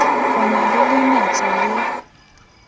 o na le lenyatso le